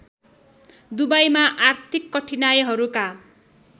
दुबईमा आर्थिक कठिनाइहरूका